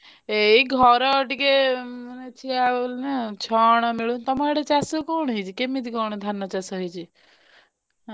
ଏଇ ଘର ଟିକେ ଅଛି ଆଉ ନା ଛଣ ମିଳୁ ତମ ଆଡେ ଚାଷ କଣ ହେଇଛି କେମିତି କଣ ଧାନ ଚାଷ ହେଇଛି।